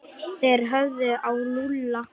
Þeir horfðu á Lúlla.